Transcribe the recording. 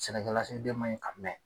Sɛnɛkɛlasigiden ma yi a mɛ